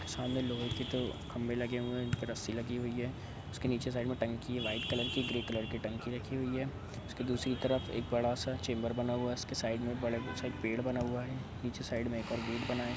सामने लोहे के दो खंबे लगे हुए हैं उन पर रस्सी लगी हुई है उसके नीचे साइड में टंकी है व्हाइट कलर की ग्रे कलर की टंकी रखी हुई है उसकी दूसरी तरफ एक बड़ा सा चेंबर बना हुआ है उसके साइड में एक बड़ा सा पेड़ बना हुआ है नीचे साइड में एक ]